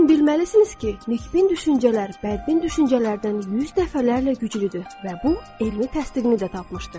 Lakin bilməlisiniz ki, nikbin düşüncələr bədbin düşüncələrdən 100 dəfələrlə güclüdür və bu elmi təsdiqini də tapmışdı.